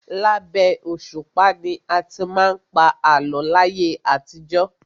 Labẹ́ òṣùpá ni a ti má ń pa àlọ́ láyé àtijọ́.